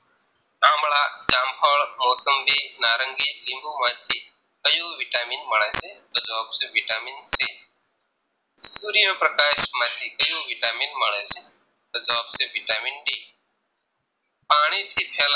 જામ ફળ મોસંબી નારંગી લીંબુ માંથી ક્યુ vitamin મળે છે તો જવાબ છે vitamin C સૂર્ય પ્રકાશ માંથી ક્યુ vitamin મળે છે તો જવાબ છે vitamin D પાણી થી ફેલ